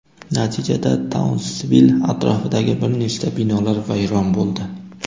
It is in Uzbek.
Natijada Taunsvill atrofidagi bir nechta binolar vayron bo‘ldi.